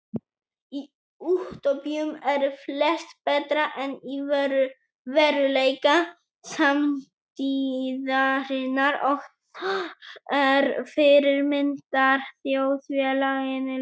Í útópíum eru flest betra en í veruleika samtíðarinnar og þar er fyrirmyndarþjóðfélaginu lýst.